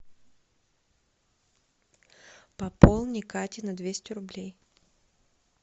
пополни кате на двести рублей